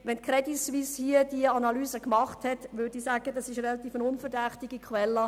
Wenn die Crédit Suisse diese Analyse gemacht hat, handelt es sich um eine relativ unverdächtige Quelle.